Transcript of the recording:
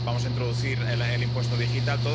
Vamos a introducir el impuesto digital.